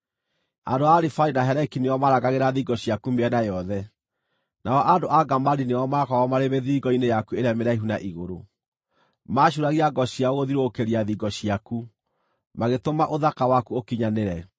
Andũ a Arivadi na Heleki nĩo maarangagĩra thingo ciaku mĩena yothe; nao andũ a Gamadi nĩo maakoragwo marĩ mĩthiringo-inĩ yaku ĩrĩa mĩraihu na igũrũ. Maacuuragia ngo ciao gũthiũrũrũkĩria thingo ciaku; magĩtũma ũthaka waku ũkinyanĩre.